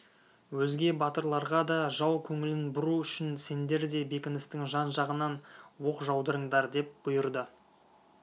өзге батырларға да жау көңілін бұру үшін сендер де бекіністің жан-жағынан оқ жаудырыңдар деп бұйырды